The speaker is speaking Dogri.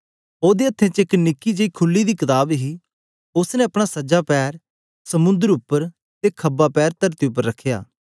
ओदे हत्थे च एक निकी जेई खुली दी कताब हे उस्स ने अपना सज्जा पैर समुंद्र उपर ते ख्बा पैर तरती उपर रखया